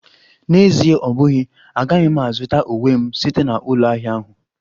N'Ezie ọ bụghị, agaghị m azụta uwe m site na ụlọ ahịa ahụ